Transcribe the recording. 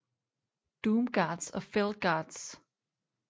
Doomguards og felguards